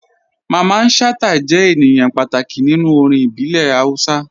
Mamman Shata jẹ̀ ènìyàn pàtàkì nínú orin ìbílẹ̀ Hausa.